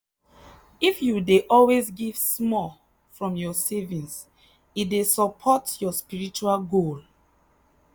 if you dey always give small from your savings e dey support your spiritual goal.